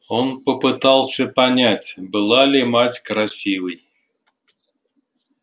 он попытался понять была ли мать красивой